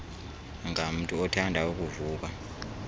ngamntu othanda ukuvuka